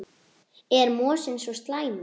Er mosinn svo slæmur?